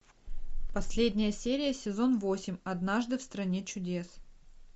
последняя серия сезон восемь однажды в стране чудес